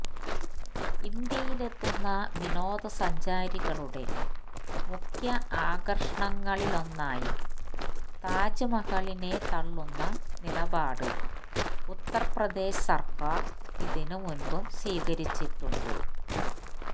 ഇന്ത്യയിലെത്തുന്ന വിനോദസഞ്ചാരികളുടെ മുഖ്യആകര്ഷണങ്ങളിലൊന്നായ താജ്മഹലിനെ തള്ളുന്ന നിലപാട് ഉത്തര്പ്രദേശ് സര്ക്കാര് ഇതിന് മുന്പും സ്വീകരിച്ചിട്ടുണ്ട്